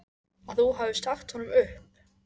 Að þú hafir sagt honum upp.